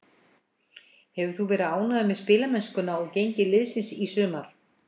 Hefur þú verið ánægður með spilamennskuna og gengi liðsins í sumar?